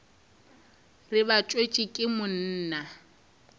re ba tswetšwe ke monna